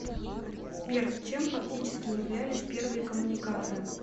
сбер чем фактически являлись первые коммуникаторы